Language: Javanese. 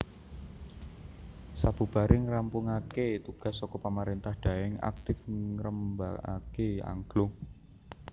Sabubare ngrampungake tugas saka pamarentah Daeng aktif ngrembakake angklung